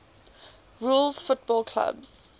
rules football clubs